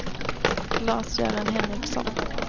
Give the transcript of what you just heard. Lars-Göran Henriksson